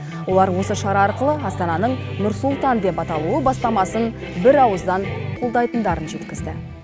олар осы шара арқылы астананың нұр сұлтан деп аталуы бастамасын бірауыздан қолдайтындарын жеткізді